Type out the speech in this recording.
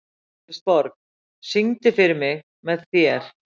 Kristborg, syngdu fyrir mig „Með þér“.